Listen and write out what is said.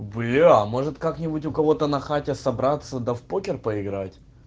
бля может как-нибудь у кого-то на хате собраться да в покер поиграть